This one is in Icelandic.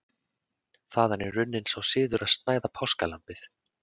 þaðan er runninn sá siður að snæða páskalambið